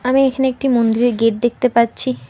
আমি এইখানে একটি মন্দিরের গেট দেখতে পাচ্ছি।